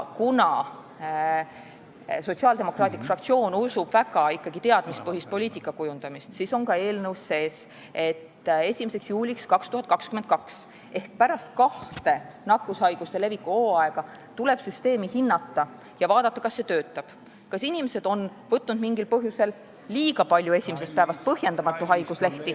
Kuna Sotsiaaldemokraatliku Erakonna fraktsioon usub väga teadmistepõhisesse poliitikakujundamisse, siis on eelnõus sees, et 1. juuliks 2022 ehk pärast kahte nakkushaiguste leviku hooaega tuleb süsteemi hinnata ja vaadata, kas see töötab – kas inimesed on võtnud mingil põhjusel või põhjendamatult liiga palju haiguslehti esimesest päevast.